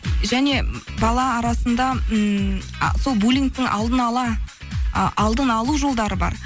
және бала арасында ммм сол булингтің ы алдын алу жолдары бар